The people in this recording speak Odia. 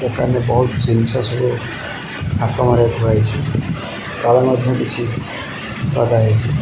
ଦୋକାନ ରେ ବହୁତ ଜିନିଷ ସବୁ ଥାକ ମାରି ଥୁଆ ହେଇଚି ତଳେ ମଧ୍ୟ କିଛି ଗଦା ହେଇଚି।